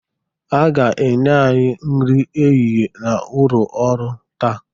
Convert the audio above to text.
Ha ga-enye anyị nri ehihie n'ụlọ orụ taa.